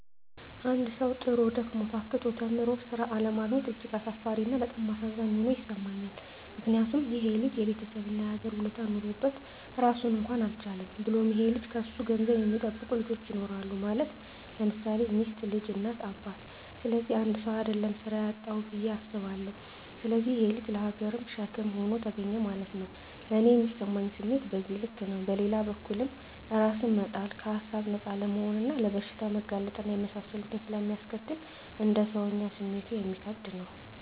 አንድ ሠዉ, ጥሮ: ደክሞ :ታክቶ ተምሮ ስራ አለማግኘት እጅግ አሳፋሪ እና በጣም አሳዛኝ ሆኖ ይሠማኛል ምክንያቱም :ይሄ ልጅ የቤተሠብ እና የሀገር ውለታ ኖሮበት ራሱን እንኳን አልቻለም። ብሎም ይሄ ልጅ ከሱ ገንዘብ የሚጠብቁ ልጆች ይኖራሉ ማለት _ለምሳሌ ሚስት: ልጅ: እናት :አባት ስለዚህ 1ሰው: አደለም ስራ ያጣዉ ብየ አስባለሁ። ስለዚህ ይሄ_ ልጅ ለሀገርም ሸክም ሆኖ ተገኘ ማለት ነዉ። ለኔ ሚሰማኝ ስሜት በዚህ ልክ ነው። በሌላ በኩልም እራስን መጣል ከሀሳብ ነፃ አለመሆንና ለበሽታ መጋለጥ እና የመሳሰሉትን ስለሚያስከትል: እንደ ሰወኛ ስሜቱ እሚከብድ ነው